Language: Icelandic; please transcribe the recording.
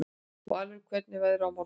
Valur, hvernig er veðrið á morgun?